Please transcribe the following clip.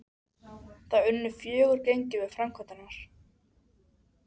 Það unnu fjögur gengi við framkvæmdirnar.